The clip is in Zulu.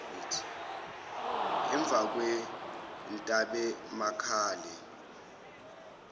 emvakwentabemakale